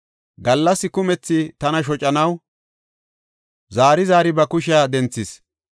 Gallas kumethi tana shocanaw zaari zaari ba kushiya denthis.